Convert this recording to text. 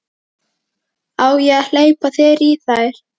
Á ég að hleypa þér í þær?